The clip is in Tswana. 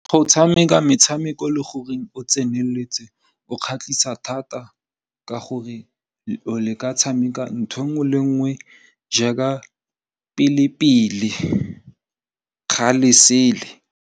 Go tshameka metshameko le gore o tseneletse go kgatlhisa thata ka gore le ka tshameka ntho nngwe le nngwe jaaka pele-pele kgale sele.